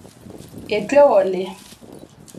not answered